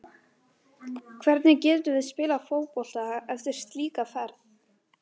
Hvernig getum við spilað fótbolta eftir slíka ferð?